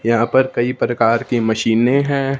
यहां पर कई प्रकार की मशीने हैं।